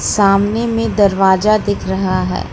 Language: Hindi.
सामने में दरवाजा दिख रहा है।